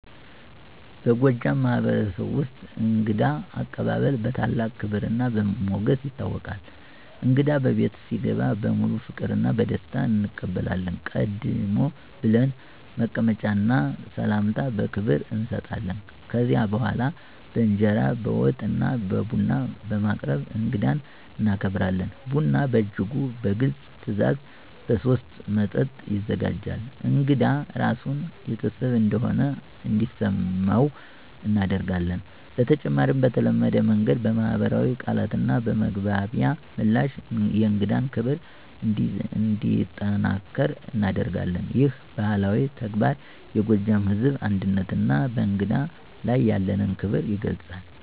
በጎጃም ማህበረሰብ ውስጥ የእንግዳ አቀባበል በታላቅ ክብርና በሞገስ ይታወቃል። እንግዳ በቤት ሲገባ በሙሉ ፍቅርና በደስታ እንቀበላለን፣ ቀደም ብለን መቀመጫ እና ሰላምታ በክብር እንሰጣለን። ከዚያ በኋላ በእንጀራ፣ በወጥ እና ቡና በማቅረብ እንግዳን እናከብራለን። ቡና በእጅጉ በግልጽ ትዕዛዝ በሶስት መጠጥ ይዘጋጃል፣ እንግዳ ራሱን ቤተሰብ እንደሆነ እንዲሰመው እናደርጋለን። በተጨማሪም በተለመደ መንገድ በማኅበራዊ ቃላትና በመግባቢያ ምላሽ የእንግዳን ክብር እንዲጠናከር እናደርጋለን። ይህ ባህላዊ ተግባር የጎጃም ሕዝብ አንድነትና በእንግዳ ላይ ያለንን ክብር ይገልጻል።